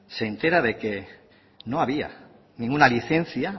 se entera de que no había ninguna licencia